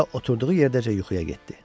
Və elə oturduğu yerdəcə yuxuya getdi.